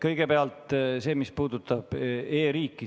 Kõigepealt sellest, mis puudutab e-riiki.